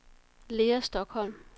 Lea Stokholm